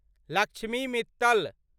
Lakshmi Mittal